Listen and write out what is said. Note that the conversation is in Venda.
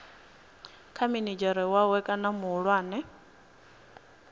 kha minidzhere wawe kana muhulwane